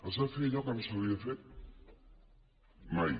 es va fer allò que no s’havia fet mai